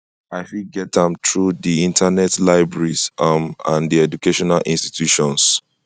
i fit get am through di internet libraries um and educational institutions